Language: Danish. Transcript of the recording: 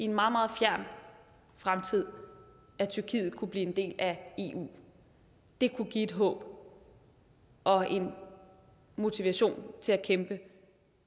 meget meget fjern fremtid at tyrkiet kunne blive en del af eu det kunne give et håb og en motivation til at kæmpe